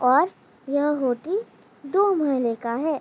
और यह होटल दो महले का है।